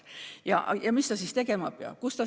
Ja mis see noor siis tegema peab?